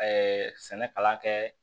sɛnɛkalan kɛ